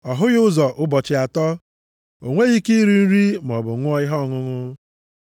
Ọ hụghị ụzọ ụbọchị atọ, o nweghị ike iri nri maọbụ ṅụọ ihe ọṅụṅụ.